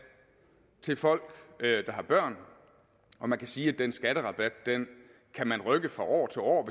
til folk der har børn og man kan sige at den skatterabat kan man rykke fra år til år